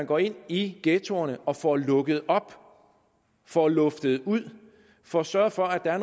går ind i ghettoerne og får lukket op får luftet ud får sørget for at der er